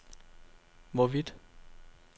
hvorvidt